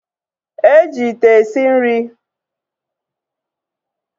E ji ite esi nri